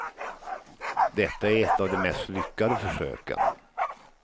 Detta är ett av de mest lyckade försöken.